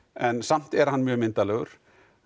en samt er hann mjög myndarlegur